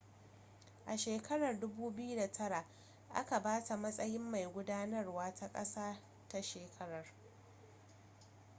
a shekarar 2009 aka ba ta matsayin mai gudanarwa ta ƙasa ta shekarar